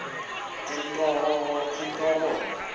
entororo